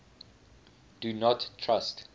do not trust